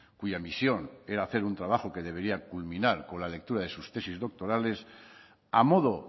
cuya misión era hacer un trabajo que debería de culminar con la lectura de sus tesis doctorales a modo